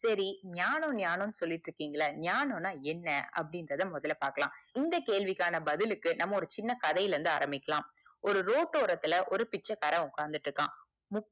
செரிஞானம் ஞானம் சொல்லிக்கிட்டு இருக்கிங்கள ஞானம் நா என்ன அப்புடிங்குரத மொதல பாக்கலாம் இந்த கேள்விக்கான பதிலுக்கு நம்ம ஒரு சின்ன கதைல இருந்து ஆரம்பிக்கலாம் ஒரு ரோட்டு ஓரத்துல ஒரு பிச்சைக்காரன் உக்காந்துட்டு இறுக்கான் மு